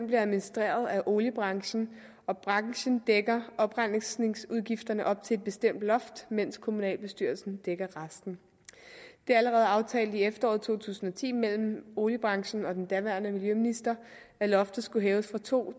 bliver administreret af oliebranchen og branchen dækker oprensningsudgifterne op til et bestemt loft mens kommunalbestyrelsen dækker resten det er allerede aftalt i efteråret to tusind og ti mellem oliebranchen og den daværende miljøminister at loftet skulle hæves fra to